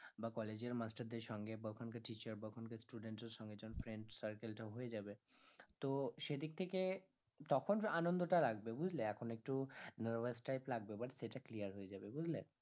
বা college এর master দের সঙ্গে বা ওখানকার teacher বা ওখানকার student দের সঙ্গে যখন friend circle টা হয়ে যাবে তো সেদিক থেকে তখন আনন্দ টা লাগবে বুঝলে এখন একটু nervous type লাগবে but সেটা clear হয়ে যাবে বুঝলে?